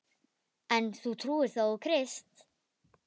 En þú trúir þó á Krist?